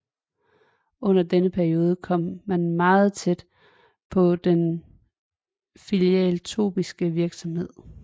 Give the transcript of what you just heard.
Under denne periode kom man meget tæt på den filantropiske virksomhed